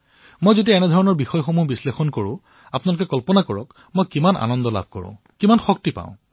মই যেতিয়াই এই কথাবোৰ বিশ্লেষণ কৰো আপোনালোকে কল্পনা কৰিব পাৰে মোৰ হৃদয় কিমান সন্তোষিত হয় মই কিমান শক্তি পাও